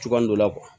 Cogoya dɔ la